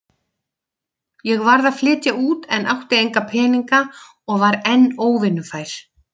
Ég varð að flytja út en átti enga peninga og var enn óvinnufær.